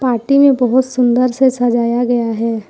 Party में बहोत सुंदर से सजाया गया है।